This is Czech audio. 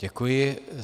Děkuji.